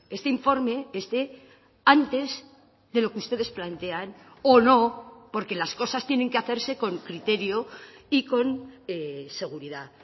este informe esté antes de lo que ustedes plantean o no porque las cosas tienen que hacerse con criterio y con seguridad